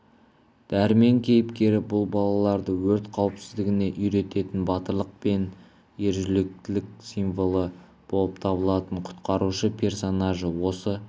дәрмен кейіпкері бұл балаларды өрт қауіпсіздігіне үйрететін батырлық мен ержүректілік сиволы болып табылатын құтқарушы персонажы осы